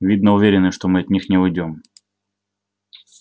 видно уверены что мы от них не уйдём